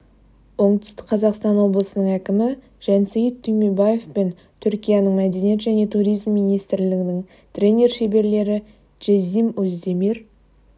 оңтүстік қазақстан облысының әкімі жансейіт түймебаев пен түркияның мәдениет және туризм министрлігінің тренер шеберлері джеззим оздемир